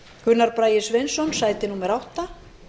gunnar bragi sveinsson sæti átta